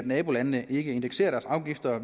nabolandene ikke indekserer deres afgifter